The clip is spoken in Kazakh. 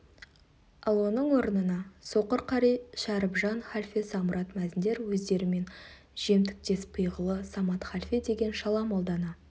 ал оның орнына соқыр қари шәрібжан халфе самұрат мәзіндер өздерімен жемтіктес пиғылы самат халфе деген шала молданы